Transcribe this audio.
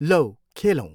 लौ खेलौँ।